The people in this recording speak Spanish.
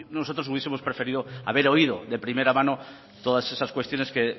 nosotros hubiesemos preferido haber oído de primera mano todas esas cuestiones que